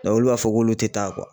olu b'a fɔ k'olu tɛ taa